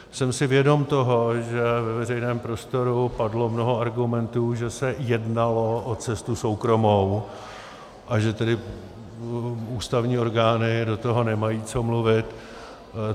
Jsem si vědom toho, že ve veřejném prostoru padlo mnoho argumentů, že se jednalo o cestu soukromou, a že tedy ústavní orgány do toho nemají co mluvit.